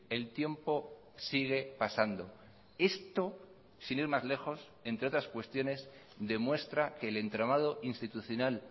el tiempo sigue pasando esto sin ir más lejos entre otras cuestiones demuestra que el entramado institucional